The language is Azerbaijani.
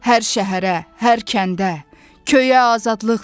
hər şəhərə, hər kəndə, köyə azadlıq dedim.